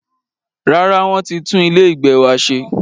Rárá, wọ́n ti tún ilé ìgbé wa ṣe.